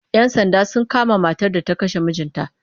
Yan Sanda sun kama matar da ta kashe mijinta